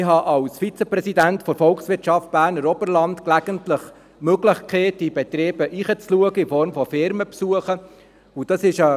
Ich habe als Vizepräsident der «Volkswirtschaft Berner Oberland» gelegentlich die Möglichkeit, im Rahmen von Firmenbesuchen in diese Betriebe hineinzuschauen.